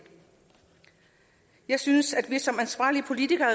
jeg synes at vi som ansvarlige politikere